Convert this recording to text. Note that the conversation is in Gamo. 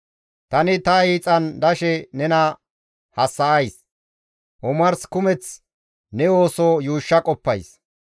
Tani ta hiixan dashe nena hassa7ays; omarsa kumeth ne ooso yuushsha qoppays;